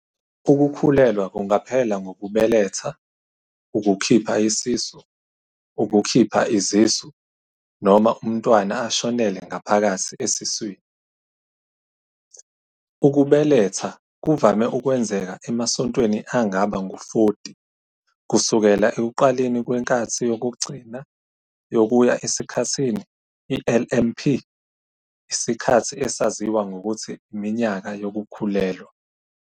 Ukukhulelwa kungaphela ngokubeletha, ukukhipha isisu, ukukhipha izisu, noma untwana ashonele ngaphakathi esiswini. Ukubeletha kuvame ukwenzeka emasontweni angaba ngu-40 kusukela ekuqaleni kwenkathi yokugcina yokuya esikhathini, LMP, isikhathi esaziwa ngokuthi iminyaka yokukhulelwa.